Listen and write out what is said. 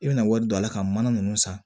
I bɛna wari don a la ka mana nunnu san